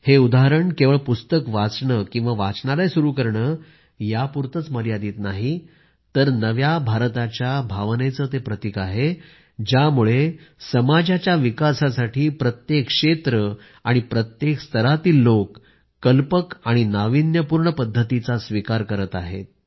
हे उदाहरण केवळ पुस्तक वाचणं किंवा वाचनालय सुरू करणं यापुरतंच मर्यादित नाही तर नव्या भारताच्या भावनेचं प्रतिक आहे ज्यामुळे समाजाच्या विकासासाठी प्रत्येक क्षेत्र आणि प्रत्येक स्तरातील लोक नवीन आणि नाविन्यपूर्ण पद्धतींचा स्विकार करत आहेत